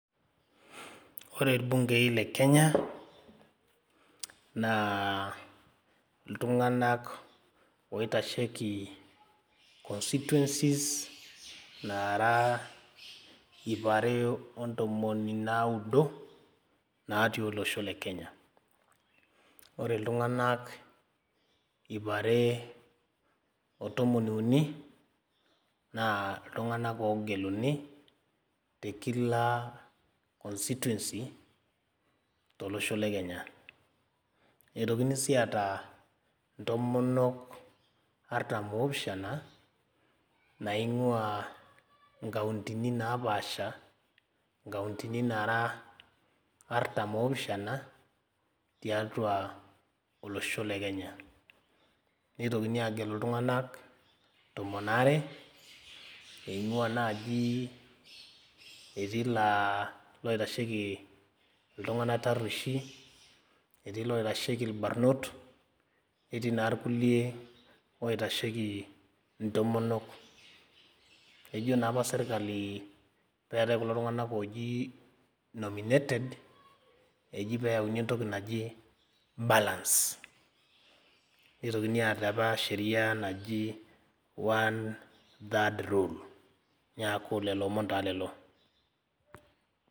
Ore irbungei le kenya naa iltung'anak oitasheki constituencies naara iip are ontomoni naudo natii olosho le kenya ore iltung'anak iip are otomon uni naa iltung'anak ogeluni te kila constituency tolosho le kenya etokini sii aata intomonok artam opishana naing'ua inkauntini napaasha inkauntini nara artam opishana tiatua olosho le kenya neitokini agelu iltung'anak tomon are eing'ua naaji etii laa loitasheki iltung'anak tarrueshi etii iloitasheki irbarnot netii naa irkulie oitasheki intomonok ejo naa apa sirkali peetae kulo tung'anak oji nominated eji peyauni entoki naji balance nitokini aata apa sheria naji one-third rule niaku lolo omon taa lelo.